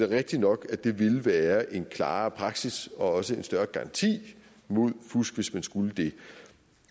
rigtigt nok at det ville være en klarere praksis og også en større garanti mod fusk hvis man skulle det